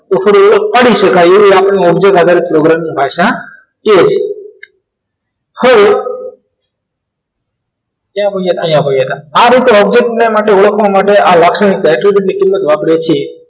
તો પછી એ પાડી શકાય એવું આપણને object આધારે પ્રોગ્રામની ભાષા કહીએ છીએ હવે ત્યાર પછી અહીંયા હોઈએ આ બધું અજજ્ઞ માટે ઓળખવા માટે આ લાક્ષણિકતા એટલી બધી વાપરિયે છે